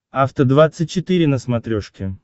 афта двадцать четыре на смотрешке